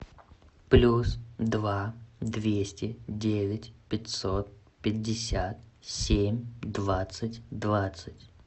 плюс два двести девять пятьсот пятьдесят семь двадцать двадцать